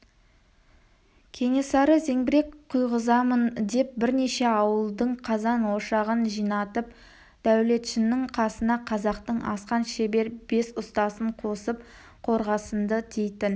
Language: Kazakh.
кенесары зеңбірек құйғызамын деп бірнеше ауылдың қазан-ошағын жинатып дәулетшінің қасына қазақтың асқан шебер бес ұстасын қосып қорғасынды дейтін